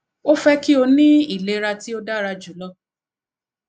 o fẹ ki o ni ilera ti o dara julọ